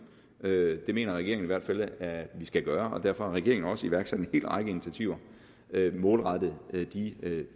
det mener regeringen i hvert fald at vi skal gøre og derfor har regeringen også iværksat en hel række initiativer målrettet de